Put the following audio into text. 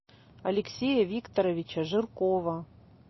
алексея викторовича жиркова